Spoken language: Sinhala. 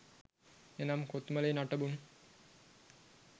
එනම් කොත්මලේ නටබුන්